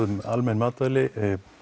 almenn matvæli